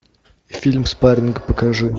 фильм спарринг покажи